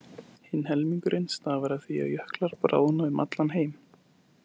Hinn helmingurinn stafar af því að jöklar bráðna um allan heim.